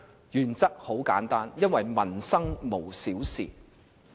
原則很簡單，因為民生無小事。